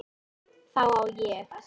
Þá á ég